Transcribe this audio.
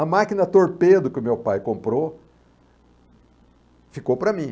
A máquina torpedo que o meu pai comprou ficou para mim.